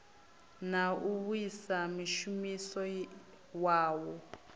na u vhaisa mushumisi wawo